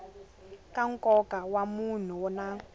ka nkoka wa mahungu na